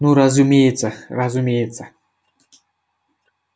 ну разумеется разумеется